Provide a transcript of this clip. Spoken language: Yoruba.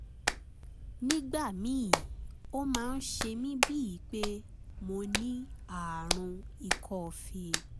nígbà míì ó máa ń ṣe mí bíi pé mo ní ààrùn ikọ́ fée